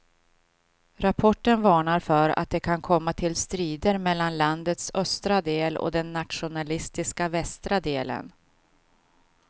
Rapporten varnar för att det kan komma till strider mellan landets östra del och den nationalistiska västra delen.